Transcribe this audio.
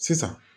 Sisan